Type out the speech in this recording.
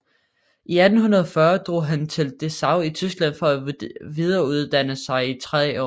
I 1840 drog han til Dessau i Tyskland for at videreuddanne sig i 3 år